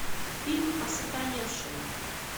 фильм осатаневшая